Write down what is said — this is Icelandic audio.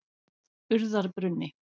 Urðarbrunni